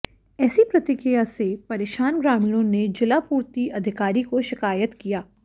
ऐसी प्रतिक्रिया से परेशान ग्रामीणों ने जिलापूर्ति अधिकारी को शिकायत किया